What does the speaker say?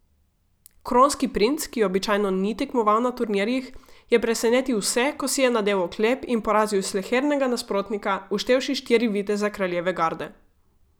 Kronski princ, ki običajno ni tekmoval na turnirjih, je presenetil vse, ko si je nadel oklep in porazil slehernega nasprotnika, vštevši štiri viteze kraljeve garde.